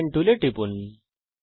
polygon টুলে টিপুন